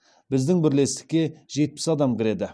біздің бірлестікке жетпіс адам кіреді